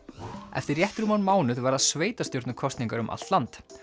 eftir rétt rúman mánuð verða sveitarstjórnarkosningar um allt land